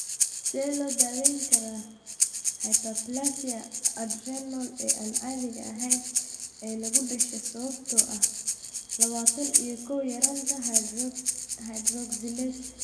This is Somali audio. Sidee loo daweyn karaa hyperplasia adrenal ee aan caadiga ahayn ee lagu dhasho sababtoo ah labatan iyo kow yaraanta hydroxylase?